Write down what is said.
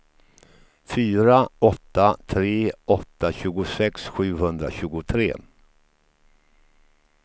fyra åtta tre åtta tjugosex sjuhundratjugotre